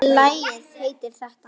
Lagið heitir þetta.